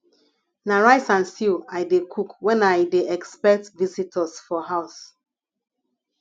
na rice and stew i dey cook when i dey expect visitors for house